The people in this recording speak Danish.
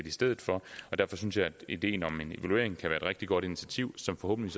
i stedet for derfor synes jeg at ideen om evaluering kan rigtig godt initiativ som forhåbentlig